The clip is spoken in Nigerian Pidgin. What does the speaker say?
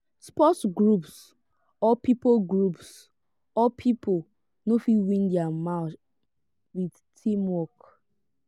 sport groups or pipo groups or pipo no fit win their match with teamwork